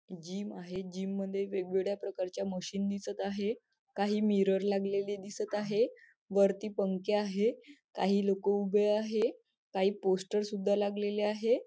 Gym आहे gym मध्ये वेगवेगळ्या प्रकारच्या मशीन दिसत आहे काही मिरर लागलेले दिसत आहे वरती पंखे आहे काही लोक उभे आहे काही पोस्टर सुद्धा लागलेली आहे.